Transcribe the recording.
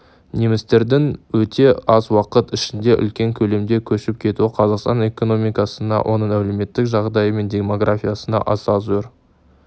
немістердің өте аз уақыт ішінде үлкен көлемде көшіп кетуі қазақстан экономикасына оның әлеуметтік жағдайы мен демографиясына аса зор